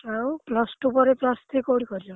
ଆଉ plus two ପରେ plus three କୋଉଠି କରିବ?